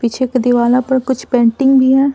पीछे के दीवाला पर कुछ पेंटिंग भी है।